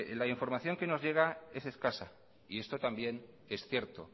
la información que nos llega es escasa y esto también es cierto